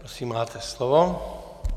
Prosím, máte slovo.